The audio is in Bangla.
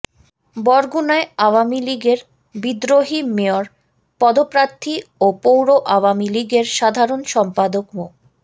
বরগুনায় আওয়ামী লীগের বিদ্রোহী মেয়র পদপ্রার্থী ও পৌর আওয়ামী লীগের সাধারণ সম্পাদক মো